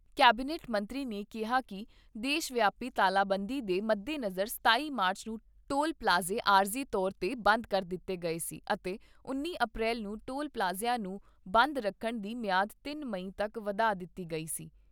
Cabinet ਮੰਤਰੀ ਨੇ ਕਿਹਾ ਕਿ ਦੇਸ਼ ਵਿਆਪੀ ਤਾਲਾਬੰਦੀ ਦੇ ਮੱਦੇਨਜ਼ਰ ਸਤਾਈ ਮਾਰਚ ਨੂੰ ਟੋਲ ਪਲਾਜ਼ੇ ਆਰਜ਼ੀ ਤੌਰ 'ਤੇ ਬੰਦ ਕਰ ਦਿੱਤੇ ਗਏ ਸੀ ਅਤੇ ਉੱਨੀ ਅਪ੍ਰੈਲ ਨੂੰ ਟੋਲ ਪਲਾਜ਼ਿਆਂ ਨੂੰ ਬੰਦ ਰੱਖਣ ਦੀ ਮਿਆਦ ਤਿੰਨ ਮਈ ਤੱਕ ਵਧਾ ਦਿੱਤੀ ਗਈ ਸੀ।